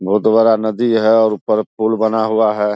बहुत बड़ा नदी है और ऊपर पुल बना हुआ है ।